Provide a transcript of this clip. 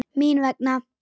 Mín vegna.